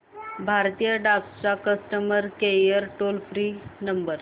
भारतीय डाक चा customer care toll free number